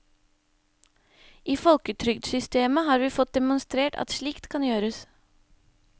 I folketrygdsystemet har vi fått demonstrert at slikt kan gjøres.